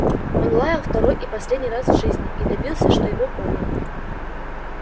он лаял второй и последний раз в жизни и добился что его поняли